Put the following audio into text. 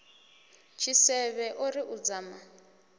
tshisevhe o ri u dzama